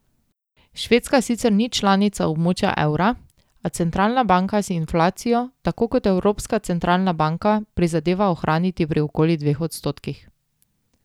Švedska sicer ni članica območja evra, a centralna banka si inflacijo tako kot Evropska centralna banka prizadeva ohraniti pri okoli dveh odstotkih.